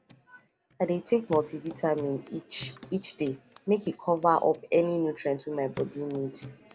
i dey take multivitamin each each day make e cover up any nutrient wey my body need